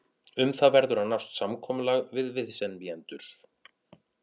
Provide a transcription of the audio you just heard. Um það verður að nást samkomulag við viðsemjendur.